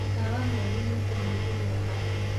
Mũkawa mwerũ nĩũkũhingũrũo haha.